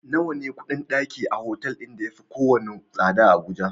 Nawa ne kuɗin ɗaki a otal ɗin ya yafi kowane tsada a Abuja?